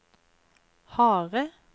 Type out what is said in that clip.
harde